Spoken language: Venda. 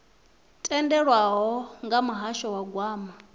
tendelwaho nga muhasho wa gwama